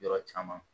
Yɔrɔ caman